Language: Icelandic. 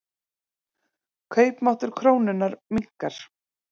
Kaupmáttur krónunnar minnkar.